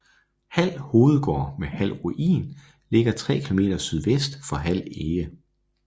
Hald Hovedgård med Hald Ruin ligger 3 km sydvest for Hald Ege